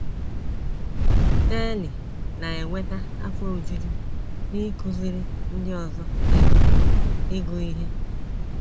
Sirley na - enweta afọ ojuju n’ịkụziri ndị ọzọ ịgụ ịgụ ihe